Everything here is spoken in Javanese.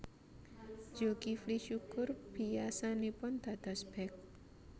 Zulkifly Syukur biyasanipun dados bék